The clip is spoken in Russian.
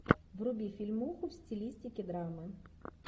вруби фильмуху в стилистике драмы